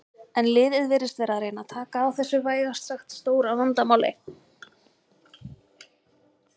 En liðið virðist vera að reyna taka á þessu vægast sagt stóra vandamáli.